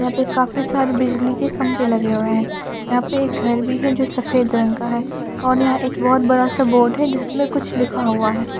यहां पे काफी सारे बिजली के खंभे लगे हुए हैं यहां पे एक घर भी है जो सफेद रंग का है और यहां एक बहुत बड़ा सा बोर्ड है जिसमें कुछ लिखा हुआ है।